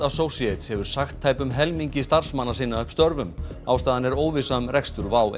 Associates hefur sagt tæpum helmingi starfsmanna sinna upp störfum ástæðan er óvissa um rekstur WOW